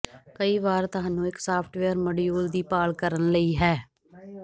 ਕਈ ਵਾਰ ਤੁਹਾਨੂੰ ਇੱਕ ਸਾਫਟਵੇਅਰ ਮੋਡੀਊਲ ਦੀ ਭਾਲ ਕਰਨ ਲਈ ਹੈ